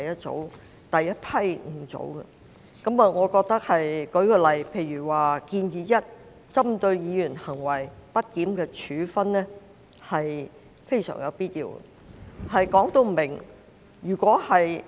這些修訂例如"建議 1： 針對議員行為極不檢點的處分"，均屬非常有必要訂定的明文規定。